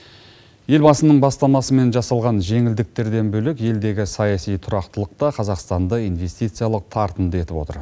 елбасының бастамасымен жасалған жеңілдіктерден бөлек елдегі саяси тұрақтылық та қазақстанды инвестициялық тартымды етіп отыр